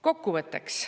Kokkuvõtteks.